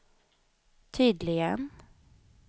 tydligen